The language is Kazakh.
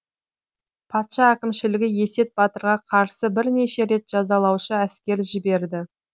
патша әкімшілігі есет батырға қарсы бірнеше рет жазалаушы әскер жіберді